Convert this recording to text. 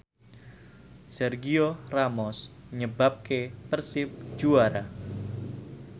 Sergio Ramos nyebabke Persib juara